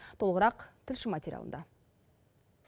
толығырақ тілші материалында